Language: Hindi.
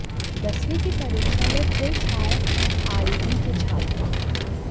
दसवीं की परीक्षा में फिर छाये आरईडी के छात्र